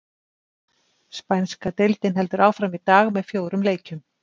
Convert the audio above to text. Spænska deildin heldur áfram í dag með fjórum leikjum.